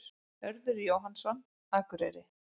Hörður Jóhannsson, Akureyri